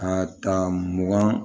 Ka ta mugan